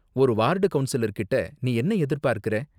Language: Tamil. ஒரு வார்டு கவுன்சிலர்கிட்ட நீ என்ன எதிர்பார்க்குற?